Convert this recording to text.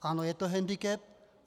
Ano, je to hendikep.